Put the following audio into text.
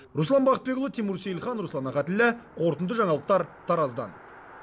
руслан бақытбекұлы тимур сейілхан руслан ахатіллә қорытынды жаңалықтар тараздан